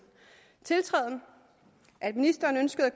tiltræden at ministeren ønskede at